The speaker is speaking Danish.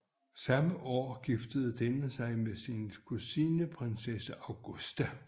Samme år giftede denne sig med sin kusine prinsesse Augusta